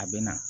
A bɛ na